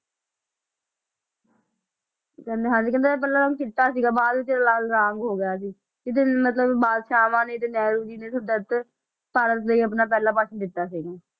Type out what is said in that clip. ਕਹਿੰਦੇ ਹਾਂਜੀ ਕਹਿੰਦੇ ਇਹਦਾ ਪਹਿਲਾਂ ਰੰਗ ਚਿੱਟਾ ਸੀਗਾ ਬਾਅਦ ਵਿੱਚ ਲਾਲ ਰੰਗ ਹੋ ਗਿਆ ਸੀ, ਇਹ ਤੇ ਮਤਲਬ ਬਾਦਸ਼ਾਵਾਂ ਨੇ ਤੇ ਨਹਿਰੂ ਜੀ ਨੇ ਸੁਤੰਤਰ ਭਾਰਤ ਲਈ ਆਪਣਾ ਪਹਿਲਾ ਭਾਸ਼ਣ ਦਿੱਤਾ ਸੀ ਇਹਨੇ